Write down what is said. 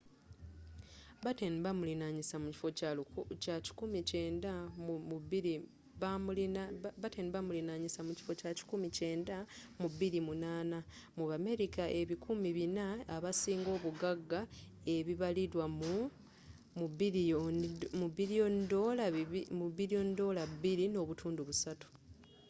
batten bamulinyisa mu kifo kya 190th mu 2008 mu bamerica ebikumi 400 abasinga obuggaga ebibalirirwa mu $2.3 billion